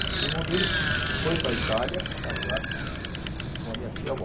O irmão dele fo foi para a Itália casar com a minha tia avó.